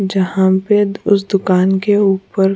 जहाँ पे उस दुकान के ऊपर --